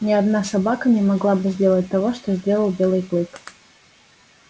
ни одна собака не могла бы сделать того что сделал белый клык